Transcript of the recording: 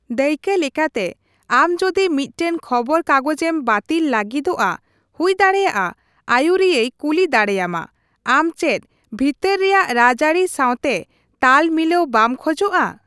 ᱫᱟᱹᱭᱠᱟᱹ ᱞᱮᱠᱟᱛᱮ, ᱟᱢ ᱡᱚᱫᱤ ᱢᱤᱫᱴᱟᱝ ᱠᱷᱚᱵᱚᱨᱠᱟᱜᱚᱡᱽ ᱮᱢ ᱵᱟᱹᱛᱤᱞ ᱞᱟᱹᱜᱤᱫᱚᱜᱼᱟ, ᱦᱩᱭ ᱫᱟᱲᱮᱭᱟᱜᱼᱟ ᱟᱹᱭᱩᱨᱤᱭᱟᱹᱭ ᱠᱩᱞᱤ ᱫᱟᱲᱮᱭᱟᱢᱟ, ᱟᱢ ᱪᱮᱫ ᱵᱷᱤᱛᱟᱹᱨ ᱨᱮᱭᱟᱜ ᱨᱟᱡᱽᱟᱹᱨᱤ ᱥᱟᱶᱛᱮ ᱛᱟᱞ ᱢᱤᱞᱟᱹᱣ ᱵᱟᱢ ᱠᱷᱚᱡᱚᱜᱼᱟ ᱾